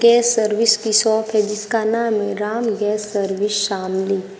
के सर्विस की शॉप है जिसका नाम है राम गैस सर्विस शामली।